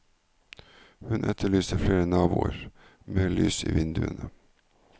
Hun etterlyser flere naboer, mer lys i vinduene.